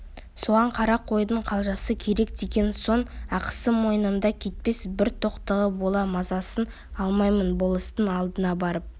соған қара қойдың қалжасы керек деген соң ақысы мойнымда кетпес бір тоқтыға бола мазасын алмайын болыстың алдына барып